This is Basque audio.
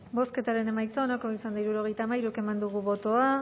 bozketaren emaitza onako izan da hirurogeita hamairu eman dugu bozka